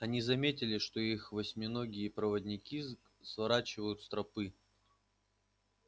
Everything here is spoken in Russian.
они заметили что их восьминогие проводники сворачивают с тропы